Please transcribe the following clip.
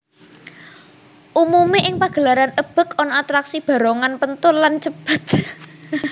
Umumé ing pagelaran ebeg ana atraksi barongan penthul lan cepet